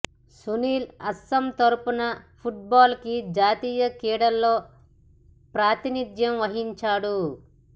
సునీల్ అస్పాం తరఫున football కు జాతీయ క్రీడల్లో ప్రాతినిధ్యం వహించాడు